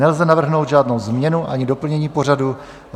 Nelze navrhnout žádnou změnu ani doplnění pořadu.